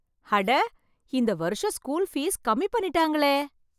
அட! இந்த வருஷம் ஸ்கூல் ஃபீஸ் கம்மி பண்ணிட்டாங்களே!